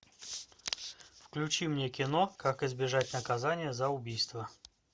включи мне кино как избежать наказания за убийство